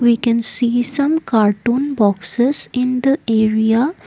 we can see some cartoon boxes in the area.